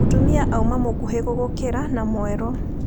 Mũtumia auma mũkuhĩ gũgũkĩra na mwerũ,